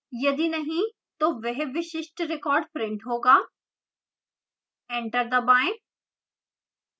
यदि नहीं तो वह विशिष्ट record printed होगा एंटर दबाएं